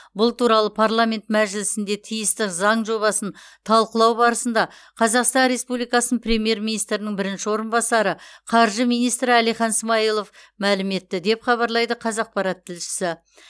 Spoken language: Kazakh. бұл туралы парламент мәжілісінде тиісті заң жобасын талқылау барысында қазақстан республикасының премьер министрінің бірінші орынбасары қаржы министрі әлихан смайылов мәлім етті деп хабарлайды қазақпарат тілшісі